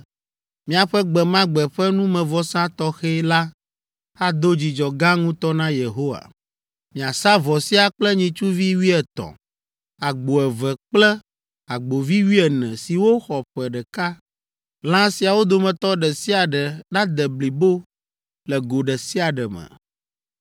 Miaƒe gbe ma gbe ƒe numevɔsa tɔxɛ la ado dzidzɔ gã ŋutɔ na Yehowa. Miasa vɔ sia kple nyitsuvi wuietɔ̃, agbo eve kple agbovi wuiene siwo xɔ ƒe ɖeka. Lã siawo dometɔ ɖe sia ɖe nade blibo le go ɖe sia ɖe me.